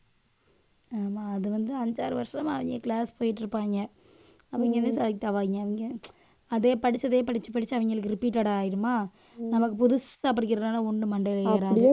ஆமா அது வந்து அஞ்சு ஆறு வருஷமா அவங்க class போயிட்டு இருப்பாங்க. அவங்கதான் select ஆவாய்ங்க. அவங்க அதே படிச்சதையே படிச்சு படிச்சு அவங்களுக்கு repeated ஆயிடுமா நமக்கு புதுசா படிக்கிறதுனால ஒண்ணும் மண்டையில ஏறாது